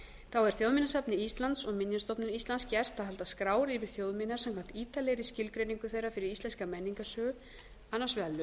fyrsta þjóðminjasafni íslands og minjastofnun íslands er gert að halda skrár yfir þjóðminjar samkvæmt ítarlegri skilgreiningu þeirra fyrir íslenska menningarsögu annars